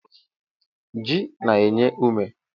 Ji na-enye ume.